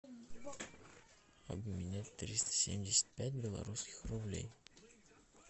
обменять триста семьдесят пять белорусских рублей